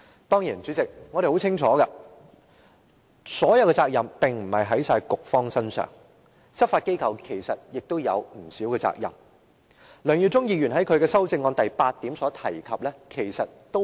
當然，主席，我們清楚責任並不全在局方身上，執法機構其實也有不少責任，梁耀忠議員在他的修正案第八點提到的亦是針對現時的問題。